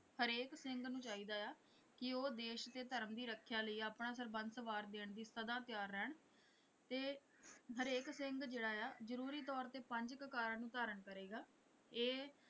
ਹਰੇਕ ਸਿੰਘ ਨੂੰ ਚਾਹੀਦਾ ਹੈ ਕਿ ਉਹ ਦੇਸ਼ ਤੇ ਧਰਮ ਦੀ ਰੱਖਿਆ ਲਈ ਆਪਣਾ ਸਰਬੰਸ ਵਾਰ ਦੇਣ ਲਈ ਸਦਾ ਤਿਆਰ ਰਹਿਣ ਤੇ ਹਰੇਕ ਸਿੰਘ ਜਿਹੜਾ ਆ ਜਰੂਰੀ ਤੌਰ ਤੇ ਪੰਜ ਕਕਾਰਾਂ ਨੂੰ ਧਾਰਨ ਕਰੇਗਾ ਇਹ।